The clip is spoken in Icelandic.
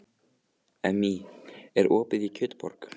Emmý, er opið í Kjötborg?